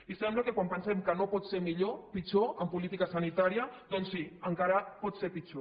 i sembla que quan pensem que no pot ser pitjor en política sanitària doncs sí encara pot ser pitjor